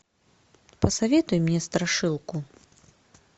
посоветуй мне страшилку